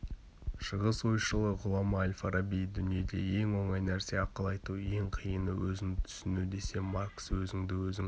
шығыс ойшылы ғұлама әл-фараби дүниеде ең оңай нәрсе ақыл айту ең қиыны өзіңді түсіну десе маркс өзіңді өзің